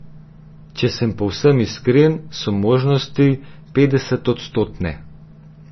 Če sem povsem iskren, so možnosti petdesetodstotne.